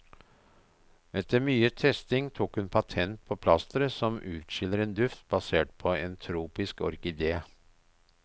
Etter mye testing tok hun patent på plasteret som utskiller en duft basert på en tropisk orkidé.